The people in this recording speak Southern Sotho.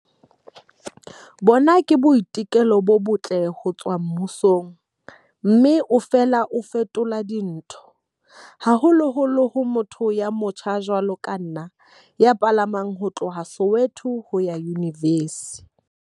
Bona ke boiteko bo botle ho tswa mmusong mme o fela o fetola dintho, haholoholo ho motho ya motjha jwalo ka nna ya palamang ho tloha Soweto ho ya Yunivesi.